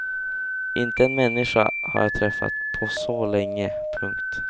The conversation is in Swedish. Inte en människa har jag träffat på så länge. punkt